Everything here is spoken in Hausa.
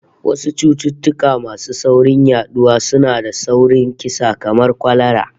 Wasu cututtuka masu sauri yaduwa sua da sauri kisa kamar kwalara